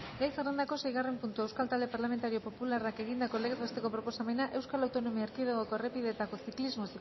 gai zerrendako seigarren puntua euskal talde parlamentario popularrak egindako legez besteko proposamena euskal autonomia erkidegoko errepideetako ziklismo